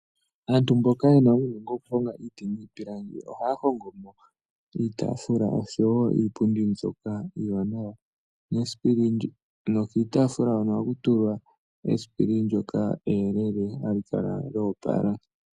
Aantu mboka ye na uunongo wokuhonga iiti niipilangi ohaya hongo mo iipundi niitaafula mbyoka iiwanawa. Kiitaafula ohaku tulwa esipili ndyoka eyelele ha li kala lya opala.